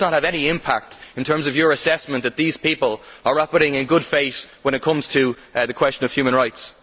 Does this not have any impact in terms of your assessment that these people are operating in good faith when it comes to the question of human rights?